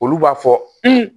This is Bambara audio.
Olu b'a fɔ